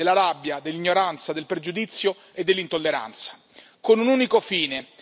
sfruttano la via dell'odio, della rabbia, dell'ignoranza, del pregiudizio e dell'intolleranza.